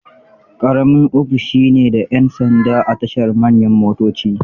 Ƙaramin ofishi ne da 'yan sanda a tashar manyan motoci.